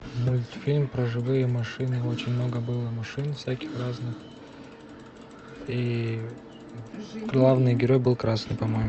мультфильм про живые машины очень много было машин всяких разных и главный герой был красный по моему